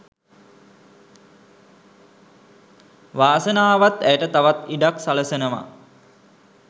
වාසනාවත් ඇයට තවත් ඉඩක් සලසනවා.